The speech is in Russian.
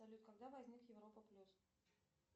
салют когда возник европа плюс